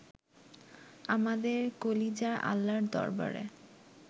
আমাদের কলিজা আল্লার দরবারে